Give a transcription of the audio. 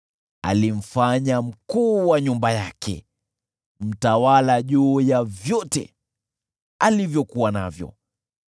Alimfanya mkuu wa nyumba yake, mtawala juu ya vyote alivyokuwa navyo,